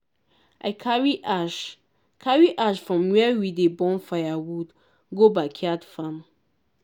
i carry ash carry ash from where we dey burn firewood go backyard farm.